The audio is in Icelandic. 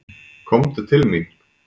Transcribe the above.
Komdu til mín.